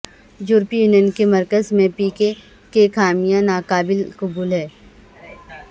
یورپی یونین کے مرکز میں پی کے کے کا خیمہ ناقابل قبول ہے